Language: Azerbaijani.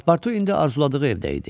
Paspurtu indi arzuladığı evdə idi.